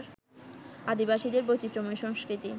আদিবাসীদের বৈচিত্র্যময় সংস্কৃতি